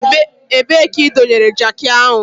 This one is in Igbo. Ebee ka ị dọnyere jakị ahụ?